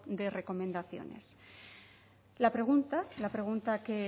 de recomendaciones la pregunta la pregunta que